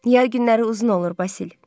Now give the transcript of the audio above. Yay günləri uzun olur, Basil.